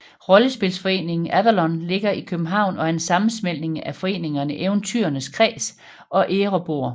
Rollespilsforeningen Avalon ligger i København og er en sammensmeltning af foreningerne Eventyrernes Kreds og Erebor